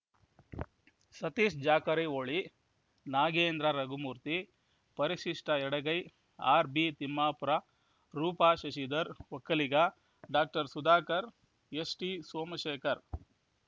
ಸತೀಶ್‌ ಜಾಕರಿಹೊಳಿ ನಾಗೇಂದ್ರ ರಘುಮೂರ್ತಿ ಪರಿಶಿಷ್ಟಎಡಗೈ R B Timmapur Roopa Shashidhar Vokkaliga doctor Sudhakar ST Somashekar